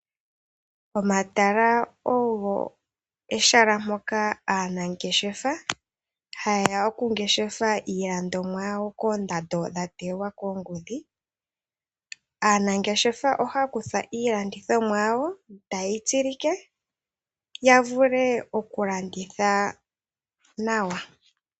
Omatala ogo ehala mpoka aanangeshefa haa ngeshefele iilandithomwa yawo. Aanangeshefa ohaa kutha iilandithomwa yawo e ta yeyi tsilike ya vule okuyi landitha nawa.